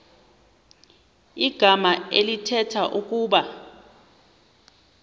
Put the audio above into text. igama elithetha ukuba